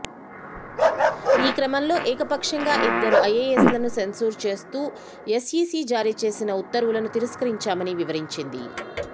ఈ క్రమంలో ఏకపక్షంగా ఇద్దరు ఐఏఎస్లను సెన్సూర్ చేస్తూ ఎస్ఈసీ జారీ చేసిన ఉత్తర్వులను తిరస్కరించామని వివరించింది